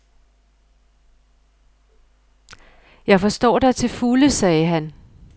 Jeg forstår dig til fulde, sagde han.